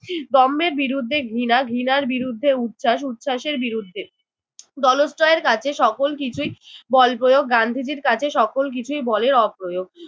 দম্ভের বিরুদ্ধে ঘৃণা, ঘৃণার বিরুদ্ধে উচ্ছ্বাস, উচ্ছ্বাসের বিরুদ্ধে। দলশ্রয়ের কাছে সকল কিছুই বল প্রয়োগ গান্ধীজির কাছে সকল কিছুই বলের অপ্রয়োগ।